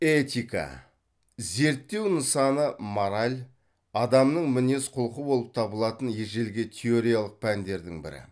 этика зерттеу нысаны мораль адамның мінез құлқы болып табылатын ежелгі теориялық пәндердің бірі